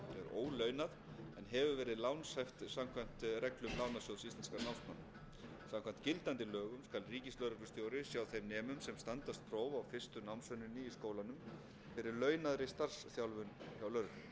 ólaunað en hefur verið lánshæft samkvæmt reglum lánasjóðs íslenskra námsmanna samkvæmt gildandi lögum skal ríkislögreglustjóri sjá þeim nemum sem standast próf á fyrstu námsönninni í skólanum fyrir launaðri starfsþjálfun hjá lögreglunni